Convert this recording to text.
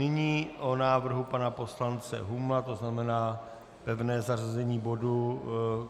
Nyní o návrhu pana poslance Humla, to znamená pevné zařazení bodu...